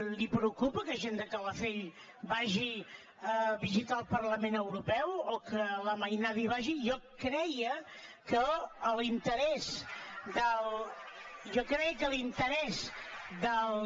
li preocupa que gent de calafell vagi a visitar el parlament europeu o que la mainada hi vagi jo creia que l’interès dels